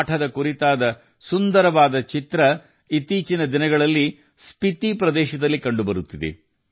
ಅವರು ಹೇಳಿದ ಮೊದಲ ಸುಂದರ ಪಾಠ ಇತ್ತೀಚಿನ ದಿನಗಳಲ್ಲಿ ಸ್ಪಿತಿ ಪ್ರದೇಶದಲ್ಲಿ ಕಂಡುಬರುತ್ತದೆ